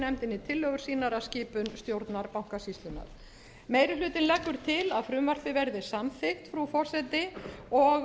nefndinni tillögur sínar að skipun stjórnar bankasýslunnar meiri hlutinn leggur til að frumvarpið verði samþykkt frú forseti og